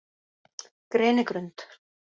Grenigrund